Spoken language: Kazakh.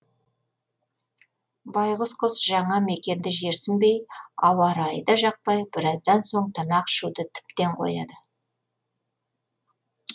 байғұс құс жаңа мекенді жерсінбей ауа райы да жақпай біраздан соң тамақ ішуді тіптен қояды